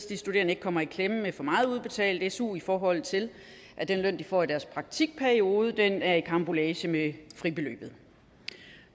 de studerende ikke kommer i klemme med for meget udbetalt su i forhold til at den løn de får i deres praktikperiode er i karambolage med fribeløbet